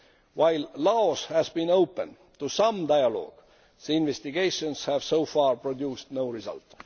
While Laos has been open to some dialogue, the investigations have so far produced no result.